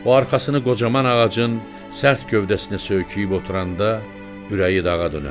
O arxasını qocaman ağacın sərt gövdəsinə söyküyüb oturanda ürəyi dağa dönərdi.